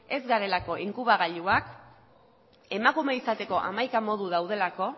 ez garelako inkubagailuak emakume izateko hamaika modu daudelako